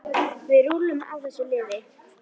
Við rúllum á þessu liði.